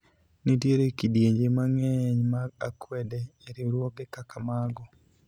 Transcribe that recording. nitier kidienje mang'eny mag akwede e riwruoge kaka mago